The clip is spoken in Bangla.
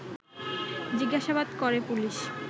জিজ্ঞাসাবাদ করে পুলিশ